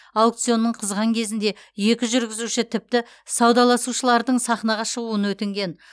аукционның қызған кезінде екі жүргізуші тіпті саудаласушылардың сахнаға шығуын өтінген